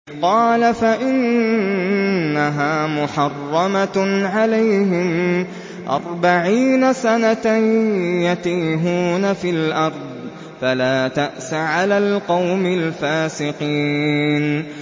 قَالَ فَإِنَّهَا مُحَرَّمَةٌ عَلَيْهِمْ ۛ أَرْبَعِينَ سَنَةً ۛ يَتِيهُونَ فِي الْأَرْضِ ۚ فَلَا تَأْسَ عَلَى الْقَوْمِ الْفَاسِقِينَ